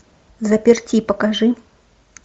в заперти покажи